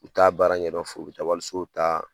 U t'a baara ɲɛdɔ foyi u bɛ taa wali sow ta